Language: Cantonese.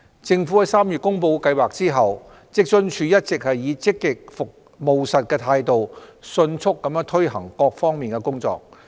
政府在3月公布計劃後，職津處一直以積極務實的態度迅速推行各項工作。